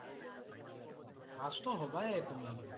Pass টো হ'বায়ে তুমি।